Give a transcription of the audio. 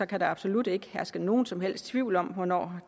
kan der absolut ikke herske nogen som helst tvivl om hvornår